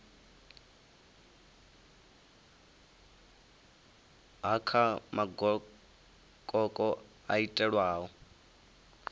ha kha magokoko o itelwaho